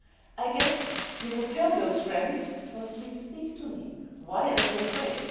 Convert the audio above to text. I guess you would tell those friends Well please speak to me, why are you afraid?'